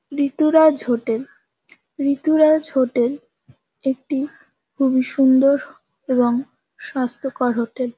ঋতুরাজ hotel Rituraj hotel একটি খুবই সুন্দর এবং স্বাস্থ্যকর হোটেল ।